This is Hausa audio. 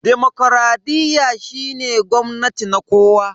Demokradiyya shine gwamnati na kowa.